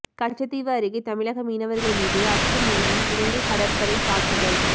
கச்சத்தீவு அருகே தமிழக மீனவர்கள் மீது அத்துமீறி இலங்கை கடற்படை தாக்குதல்